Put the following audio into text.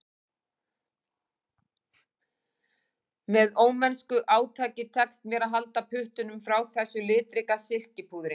Með ómennsku átaki tekst mér að halda puttunum frá þessu litríka silkipúðri